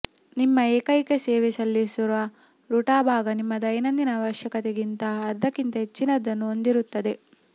ನಿಮ್ಮ ಏಕೈಕ ಸೇವೆ ಸಲ್ಲಿಸಿದ ರುಟಾಬಾಗಾ ನಿಮ್ಮ ದೈನಂದಿನ ಅವಶ್ಯಕತೆಗಿಂತ ಅರ್ಧಕ್ಕಿಂತ ಹೆಚ್ಚಿನದನ್ನು ಹೊಂದಿರುತ್ತದೆ